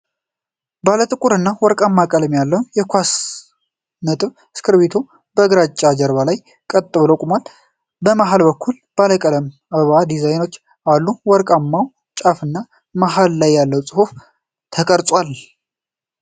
ባለጥቁርና ወርቃማ ቀለም ያለው የኳስ ነጥብ እስክርቢቶ በግራጫ ጀርባ ላይ ቀጥ ብሎ ቆሟል። በመሃል በኩል ባለቀለም የአበባ ዲዛይኖች አሉ። ወርቃማው ጫፍና መሃል ላይ ጽሑፍ ተቀርጿል።